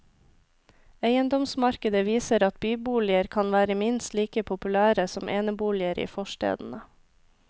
Eiendomsmarkedet viser at byboliger kan være minst like populære som eneboliger i forstedene.